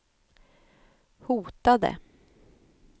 hotade